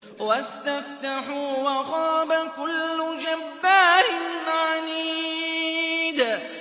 وَاسْتَفْتَحُوا وَخَابَ كُلُّ جَبَّارٍ عَنِيدٍ